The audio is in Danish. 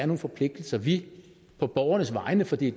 nogle forpligtelser vi på borgernes vegne for det er